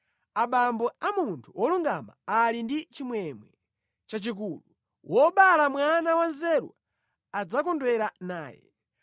Abambo a munthu wolungama ali ndi chimwemwe chachikulu; Wobala mwana wanzeru adzakondwera naye.